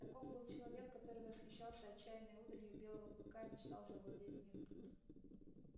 таков был человек который восхищался отчаянной удалью белого клыка и мечтал завладеть им